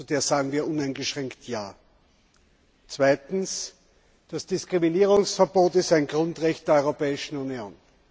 Zu der sagen wir uneingeschränkt Ja. Zweitens Das Diskriminierungsverbot ist ein Grundrecht der Europäischen Union.